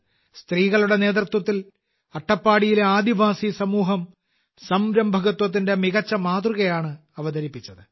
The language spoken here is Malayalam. സ്ത്രീകളുടെ നേതൃത്വത്തിൽ അട്ടപ്പാടിയിലെ ആദിവാസി സമൂഹം സംരംഭകത്വത്തിന്റെ മികച്ച മാതൃകയാണ് അവതരിപ്പിച്ചത്